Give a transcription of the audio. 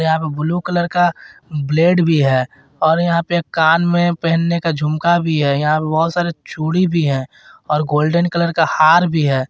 यहां पे blue colour का ब्लेड भी है और यहां पे कान में पहनने का झुमका भी है यहां पे बहुत सारे चूड़ी भी हैं और गोल्डन कलर का हार भी है।